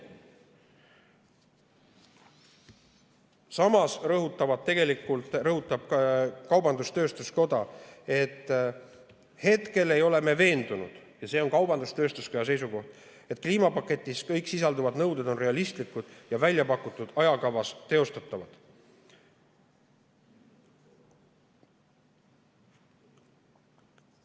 " Samas rõhutab kaubandus-tööstuskoda, et hetkel ei ole nad veendunud – see on kaubandus-tööstuskoja seisukoht –, et kõik kliimapaketis sisalduvad nõuded on realistlikud ja väljapakutud ajakavas teostatavad.